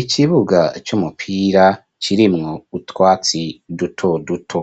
Ikibuga c'umupira kirimwo utwatsi duto duto.